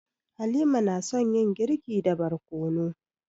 Halima na son yin girki da barkono.